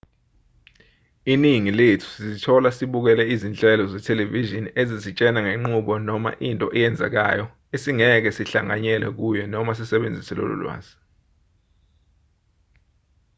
iningi lethu sizithola sibukele izinhlelo zethelevishini ezisitshela ngenqubo noma into eyenzekayo esingeke sihlanganyele kuyo noma sisebenzise lolo lwazi